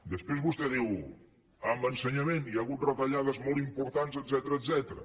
després vostè diu en ensenyament hi ha hagut retallades molt importants etcètera